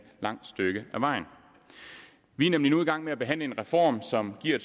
langt stykke ad vejen vi er nemlig nu i gang med at behandle en reform som giver